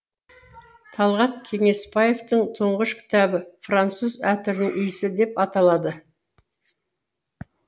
талғат кеңесбаевтың тұңғыш кітабы француз әтірінің иісі деп аталады